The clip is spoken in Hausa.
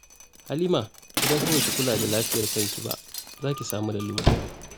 Halima, idan fa ba ki kula da lafiyar kanki ba, za ki samu lalura